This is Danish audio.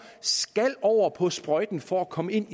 skal over på sprøjten for at komme ind